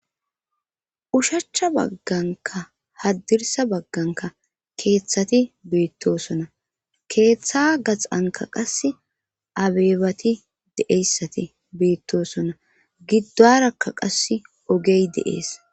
Oshachcha bagganka haddirsa bagganka keeththati beittosona keeththa gaxanka qase abeebati deeyssati beittosona giddarakka qasse ogey deees